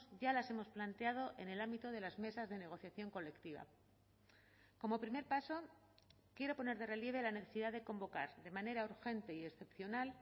ya las hemos planteado en el ámbito de las mesas de negociación colectiva como primer paso quiero poner de relieve la necesidad de convocar de manera urgente y excepcional